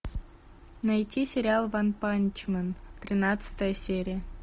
найти сериал ванпанчмен тринадцатая серия